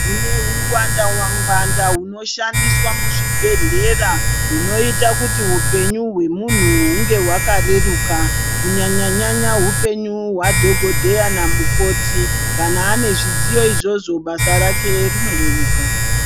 Kune ungwanda wangwanda hunoshandiswa muzvibhedhlera, hunoita kuti hupenyu hwemunhu hunge hwakareruka, kunyanya-nyanya hupenyu hwadhogodheya namukoti. Kana ane zvidziyo izvozvo, basa rake rinoreruka.